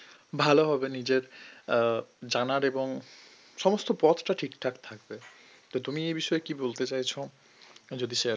ভালো হবে নিজের উম জানার এবং সমস্ত পথটা ঠিকঠাক থাকবে তো তুমি এ বিষয়ে কী বলতে চাইছো যদি share কর